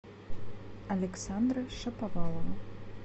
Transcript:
александра шаповалова